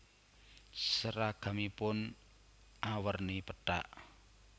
Seragamipun awerni pethak